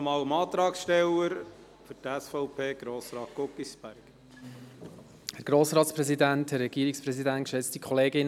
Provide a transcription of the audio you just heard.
Ich gebe dem Antragsteller, Grossrat Guggisberg, noch einmal das Wort.